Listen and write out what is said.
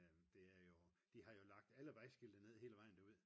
det er jo de har jo lagt alle vejskilte ned hele vejen nu